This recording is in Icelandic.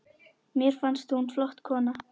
Mér fannst hún flott kona.